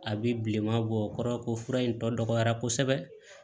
A bɛ bilenman bɔ o kɔrɔ ko fura in tɔ dɔgɔyara kosɛbɛ